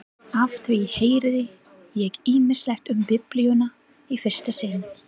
Á því heyrði ég ýmislegt um Biblíuna í fyrsta sinn.